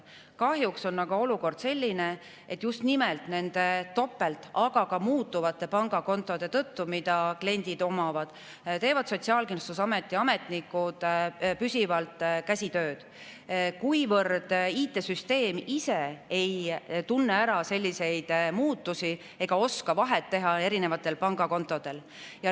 Kahjuks on aga olukord selline, et just nimelt nende topelt, aga ka muutuvate pangakontode tõttu, mida kliendid omavad, teevad Sotsiaalkindlustusameti ametnikud püsivalt käsitsitööd, kuivõrd IT‑süsteem ise ei tunne ära selliseid muutusi ega oska erinevatel pangakontodel vahet teha.